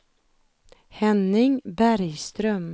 Henning Bergström